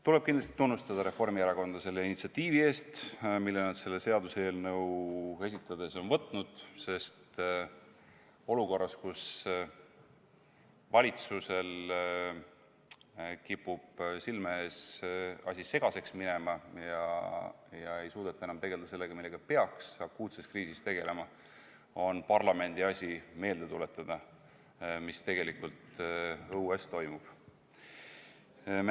Tuleb kindlasti tunnustada Reformierakonna fraktsiooni initsiatiivi eest, mille nad seda seaduseelnõu esitades on võtnud, sest olukorras, kus valitsusel kipub silme ees asi segaseks minema ja ei suudeta enam tegeleda sellega, millega akuutses kriisis peaks tegelema, on parlamendi asi meelde tuletada, mis tegelikult õues toimub.